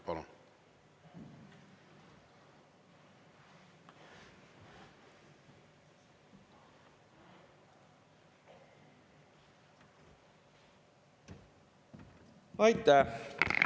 Palun!